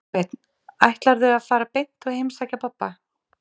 Kolbeinn: Ætlarðu að fara beint og heimsækja pabba?